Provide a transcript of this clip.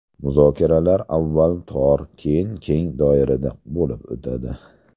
Muzokaralar avval tor, keyin keng doirada bo‘lib o‘tadi.